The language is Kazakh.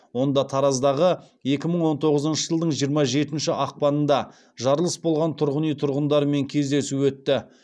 онда тараздағы екі мың он тоғызыншы жылдың жиырма жетінші ақпанында жарылыс болған тұрғын үй тұрғындарымен кездесу өтті